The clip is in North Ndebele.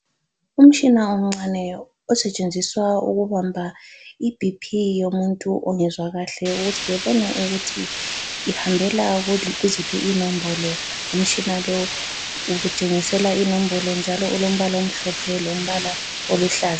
Umtshina omncane osetshenziswa ukubamba iBP yomuntu ongezwa kahle ukuthi bebone ukuthi ihambela kuziphi inombolo. Umtshina lo utshengisela inombolo njalo ulombala omhlophe lombala oluhlaza.